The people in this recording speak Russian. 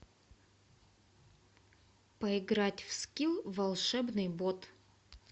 поиграть в скилл волшебный бот